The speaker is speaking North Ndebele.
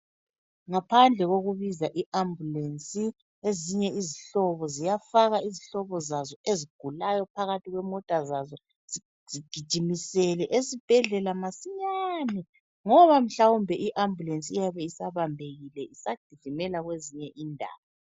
Ngaphandle kokubiza iambulance ezinye izihlobo ziyafaka izihlobo zazo ezigulayo phakathi kwemota zazo, zizigijimisele esibhedlela masinyane, ngoba mhlawumbe iambulance iyabe isabambekile isagijimela kwezinye indawo.